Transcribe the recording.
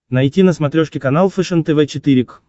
найти на смотрешке канал фэшен тв четыре к